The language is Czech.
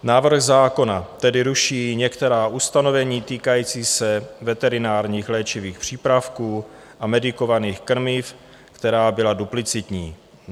Návrh zákona tedy ruší některá ustanovení týkající se veterinárních léčivých přípravků a medikovaných krmiv, která byla duplicitní.